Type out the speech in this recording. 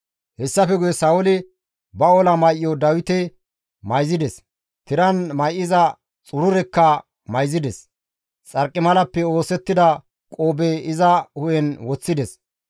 Hessafe guye Sa7ooli ba ola may7o Dawite mayzides; tiran may7iza xururekka mayzides; xarqimalappe oosettida qoobe iza hu7en woththides.